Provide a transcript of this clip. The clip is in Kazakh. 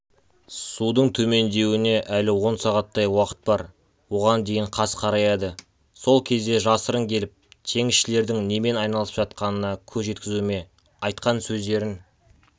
судың төмендеуіне әлі он сағаттай уақыт бар оған дейін қас қараяды сол кезде жасырын келіп теңізшілердің немен айналысып жатқанына көз жеткізуіме айтқан сөздерін